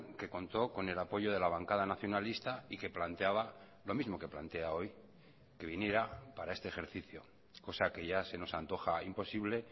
que contó con el apoyo de la bancada nacionalista y que planteaba lo mismo que plantea hoy que viniera para este ejercicio cosa que ya se nos antoja imposible